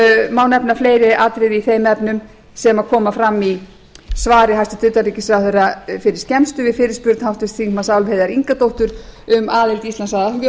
má nefna fleiri atriði í þeim efnum sem koma fram í svari hæstvirts utanríkisráðherra fyrir skemmstu við fyrirspurn háttvirts þingmanns álfheiðar ingadóttur um aðild íslands að